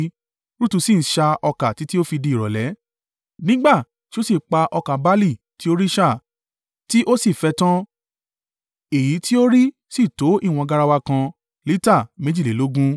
Rutu sì ń ṣá ọkà títí ó fi di ìrọ̀lẹ́, nígbà tí ó sì pa ọkà barle tí ó rí ṣà, tí ó sì fẹ́ ẹ tán, èyí tí ó rí sì tó ìwọ̀n garawa kan (lita méjìlélógún).